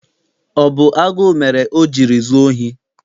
Ọ bụ agụụ mere o jiri zuo ohi?